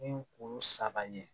Ni kuru saba ye